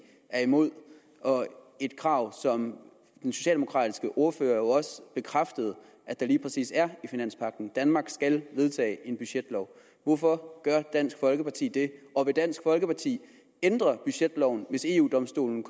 er imod og et krav som den socialdemokratiske ordfører jo også bekræftede at der lige præcis er i finanspagten danmark skal vedtage en budgetlov hvorfor gør dansk folkeparti det og vil dansk folkeparti ændre budgetloven hvis eu domstolen